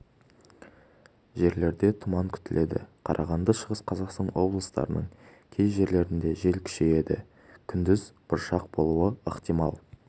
жерлерде тұман күтіледі қарағанды шығыс қазақстан облыстарының кей жерлерінде жел күшейеді күндіз бұршақ болуы ықтимал